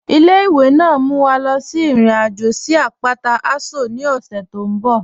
Ile-iwe naa n mú wa lọ sí irin-ajo sí apátà Aso ni ọṣẹ tó nbọ̀.